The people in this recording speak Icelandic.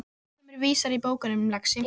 Lærdómurinn er víðar en í bókunum, lagsi.